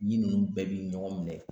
ɲin ninnu bɛɛ bɛ ɲɔgɔn minɛ